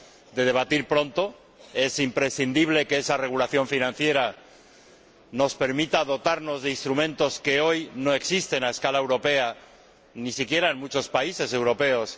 de debatir pronto—. Es imprescindible que esa regulación financiera nos permita dotarnos de instrumentos que hoy no existen a escala europea, ni siquiera en muchos países europeos.